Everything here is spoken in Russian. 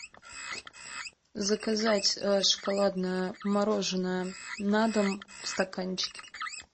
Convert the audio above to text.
заказать шоколадное мороженое на дом в стаканчике